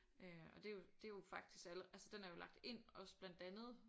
Øh og det er jo det er jo faktisk alle altså den er jo lagt ind også bland andet